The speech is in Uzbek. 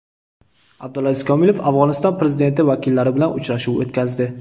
Abdulaziz Komilov Afg‘oniston prezidenti vakillari bilan uchrashuv o‘tkazdi.